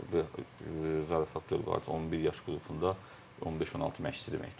Zarafat faktordur, 11 yaş qrupunda 15-16 məşqçi deməkdir.